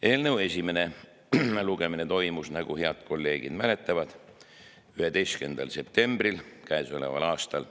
Eelnõu esimene lugemine toimus, nagu head kolleegid mäletavad, 11. septembril käesoleval aastal.